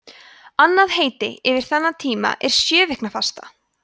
annað heiti yfir þennan tíma er sjöviknafasta